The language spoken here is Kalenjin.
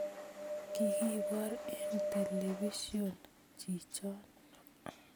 Kikibor en telepision chichon